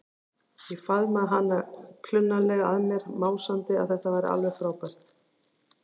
Ég faðmaði hana klunnalega að mér, másandi að þetta væri alveg frábært.